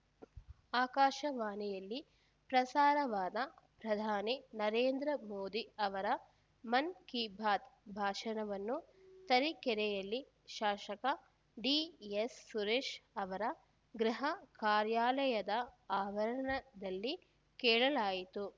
ಆಕಾಶವಾಣಿಯಲ್ಲಿ ಪ್ರಸಾರವಾದ ಪ್ರಧಾನಿ ನರೇಂದ್ರ ಮೋದಿ ಅವರ ಮನ್‌ ಕಿ ಬಾತ್‌ ಭಾಷಣವನ್ನು ತರೀಕೆರೆಯಲ್ಲಿ ಶಾಸಕ ಡಿಎಸ್‌ ಸುರೇಶ್‌ ಅವರ ಗೃಹ ಕಾರ್ಯಾಲಯದ ಆವರಣದಲ್ಲಿ ಕೇಳಲಾಯಿತು